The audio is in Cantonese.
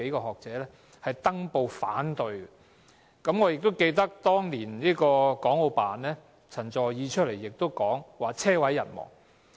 我亦記得，對於此事，當年國務院港澳事務辦公室的陳佐洱說"車毀人亡"。